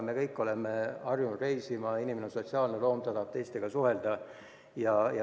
Me kõik oleme harjunud reisima, inimene on sotsiaalne loom, ta tahab teistega suhelda.